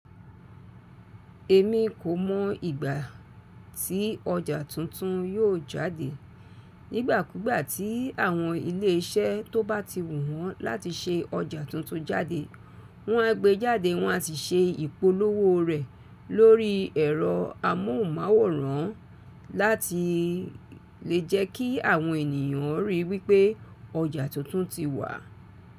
Èmi kò mọ̀ ìgbà tí ọjà tuntun yóò jáde. Nígbà kúgbà tí àwọn ilé iṣẹ́ tó bá ti wùwọn láti ṣe ọjà tuntun jáde, wọ́n á gbe jáde wọ́n á ti ṣe ìpolówó rẹ̀ lórí ẹ̀rọ amóhùnmáwòrán láti lè jẹ́ kí àwọn ènìyàn ríi wípé ọjà tuntun ti wà.